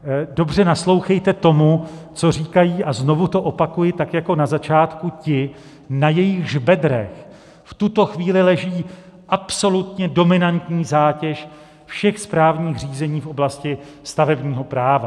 Dobře naslouchejte tomu, co říkají, a znovu to opakuji tak jako na začátku, ti, na jejichž bedrech v tuto chvíli leží absolutně dominantní zátěž všech správních řízení v oblasti stavebního práva.